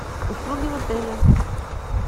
услуги в отеле